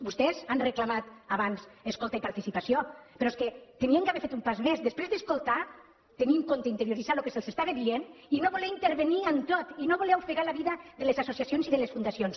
vostès han reclamat abans escolta i participació però és que haurien d’haver fet un pas més després d’escoltar tenir en compte i interioritzar el que se’ls estava dient i no voler intervenir en tot i no voler ofegar la vida de les associacions i de les fundacions